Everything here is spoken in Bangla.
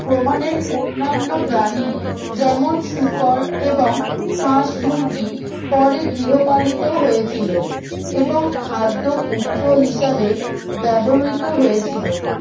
বুননের অন্নান্য প্রাণী যেমন শুকর এবং হাঁস মুরগি পরে গৃহপালিত হয়েছিল এবং খাদ্য উৎস হিসাবে ব্যবহিত হয়েছিল